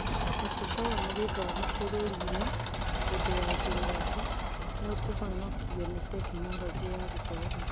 Mũtũgo wa gĩthomo bũrũri-inĩ hĩndĩ ya kĩng'ũki: Nĩũkũhonokio nĩ Tekinoronjĩ ya Gĩthomo?